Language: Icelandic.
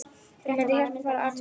Hún mundi hjálpa, fara og athuga